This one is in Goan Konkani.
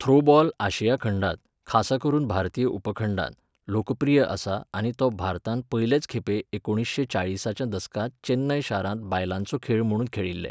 थ्रोबॉल आशिया खंडांत, खासा करून भारतीय उपखंडांत, लोकप्रिय आसा आनी तो भारतांत पयलेच खेपे एकुणिशें चाळीसाच्या दसकांत चेन्नय शारांत बायलांचो खेळ म्हुणून खेळिल्ले.